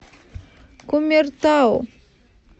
кумертау